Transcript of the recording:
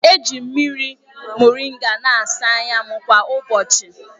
Eji m mmiri moringa na-asa anya m kwa ụbọchị.